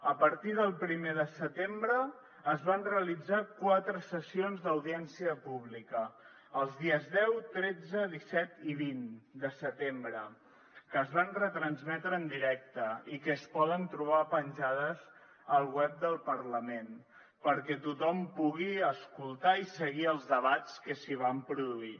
a partir del primer de setembre es van realitzar quatre sessions d’audiència pública els dies deu tretze disset i vint de setembre que es van retransmetre en directe i que es poden trobar penjades al web del parlament perquè tothom pugui escoltar i seguir els debats que s’hi van produir